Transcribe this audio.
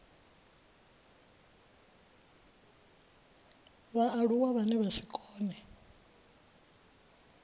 vhaaluwa vhane vha si kone